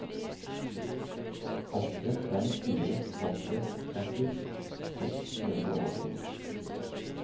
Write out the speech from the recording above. åtte fem fire åtte tretti seks hundre og åtti